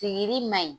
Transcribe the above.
Sigili maɲi